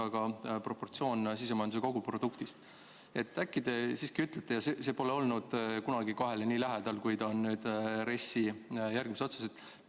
Aga proportsioon sisemajanduse koguproduktist pole olnud kunagi 2‑le nii lähedal, kui ta on nüüd RES‑i järgmiste otsustega.